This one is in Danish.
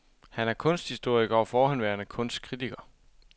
Han er kunsthistoriker og forhenværende kunstkritiker.